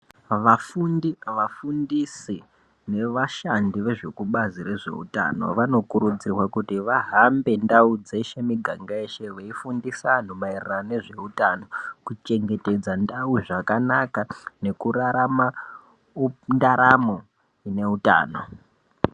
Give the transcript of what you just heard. Vafundi vafundisi nevashandi vezvekubazi rezveutano vanokurudzirwa kuti vahambe ndau dzeshe muganga yeshe veifundisa vantu maererano nezveutano kuchengetedza ndau zvakanaka nekurara ndaramo ineutano.